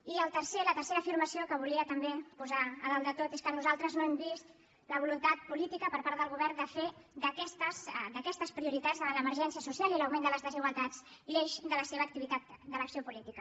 i la tercera afirmació que volia també posar a dalt de tot és que nosaltres no hem vist la voluntat política per part del govern de fer d’aquestes prioritats davant l’emergència social i l’augment de les desigualtats l’eix de la seva activitat de l’acció política